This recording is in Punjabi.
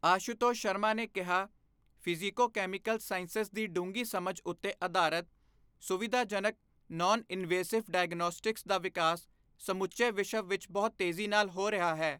ਆਸ਼ੂਤੋਸ਼ ਸ਼ਰਮਾ ਨੇ ਕਿਹਾ, ਫ਼ਿਜ਼ੀਕੋਕੈਮੀਕਲ ਸਾਇੰਸਜ਼ ਦੀ ਡੂੰਘੀ ਸਮਝ ਉੱਤੇ ਆਧਾਰਤ ਸੁਵਿਧਾਜਨਕ, ਨੌਨ ਇਨਵੇਸਿਵ ਡਾਇਓਗਨੌਸਟਿਕਸ ਦਾ ਵਿਕਾਸ ਸਮੁੱਚੇ ਵਿਸ਼ਵ ਵਿੱਚ ਬਹੁਤ ਤੇਜ਼ੀ ਨਾਲ ਹੋ ਰਿਹਾ ਹੈ।